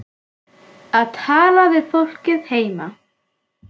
Að tala við fólkið heima.